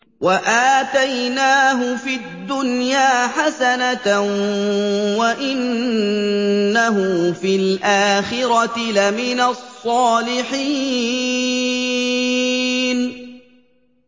وَآتَيْنَاهُ فِي الدُّنْيَا حَسَنَةً ۖ وَإِنَّهُ فِي الْآخِرَةِ لَمِنَ الصَّالِحِينَ